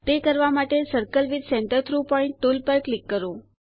તે કરવા માટે circle with centre through point tool ઉપર ક્લિક કરો